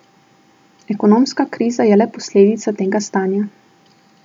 Ekonomska kriza je le posledica tega stanja.